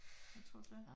Hvad tror du det er?